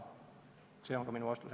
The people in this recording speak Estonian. See on ka minu vastus.